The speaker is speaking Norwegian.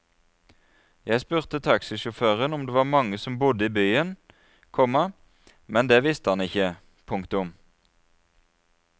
Jeg spurte taxisjåføren om det var mange som bodde i byen, komma men det visste han ikke. punktum